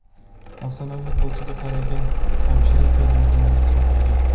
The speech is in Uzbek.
Afsonaviy futbolchiga qaragan hamshira tez yordam chaqirgan.